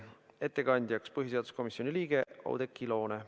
Ettekandja on põhiseaduskomisjoni liige Oudekki Loone.